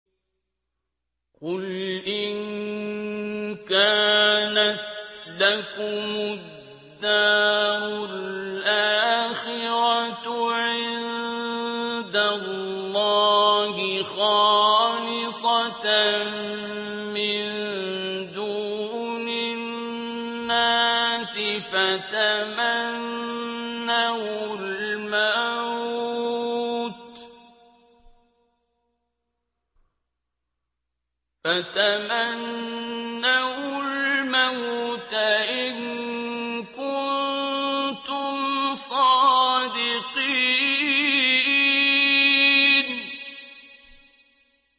قُلْ إِن كَانَتْ لَكُمُ الدَّارُ الْآخِرَةُ عِندَ اللَّهِ خَالِصَةً مِّن دُونِ النَّاسِ فَتَمَنَّوُا الْمَوْتَ إِن كُنتُمْ صَادِقِينَ